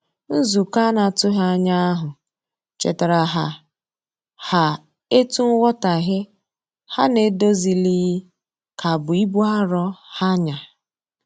Nzukọ anatughi anya ahu chetara ha ha etu nwotaghe ha n'edozilighi ka bụ ibụ arọ ha nya